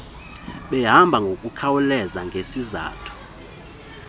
behambe ngokukhawuleza ngesizathu